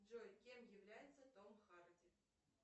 джой кем является том харди